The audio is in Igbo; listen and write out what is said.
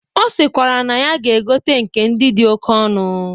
Ọ sịkwara na ya ga-egote nke ndị dị oke ọnụ.